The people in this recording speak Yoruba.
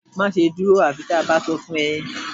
Máṣe dúró àfi bí a bá sọ fún ẹ